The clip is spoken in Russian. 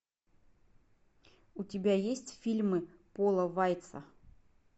у тебя есть фильмы пола вайца